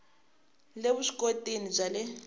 le vusw ikoti bya le